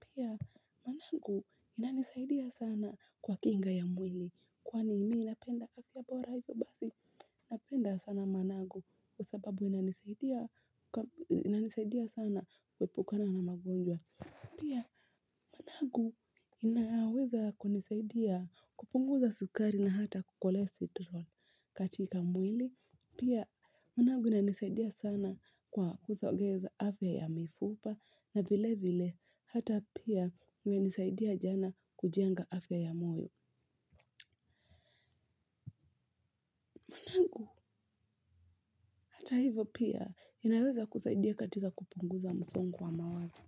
Pia managu inanisaidia sana kwa kinga ya mwili, kwani mimi napenda afya bora hivyo basi, napenda sana managu kwa sababu inanisaidia sana kuepukana na magonjwa. Pia managu inaweza kunisaidia kupunguza sukari na hata cholesterol katika mwili. Pia managu inanisaidia sana kwa kusogeza afya ya mifupa na vile vile hata pia inanisaidia sana kujenga afya ya moyo. Hata hivo pia inaweza kusaidia katika kupunguza msongo wa mawazo.